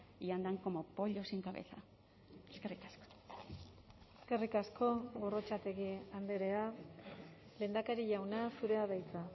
y andan como pollo sin cabeza eskerrik asko eskerrik asko gorrotxategi andrea lehendakari jauna zurea da hitza